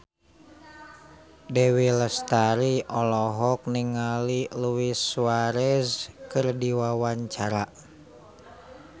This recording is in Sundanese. Dewi Lestari olohok ningali Luis Suarez keur diwawancara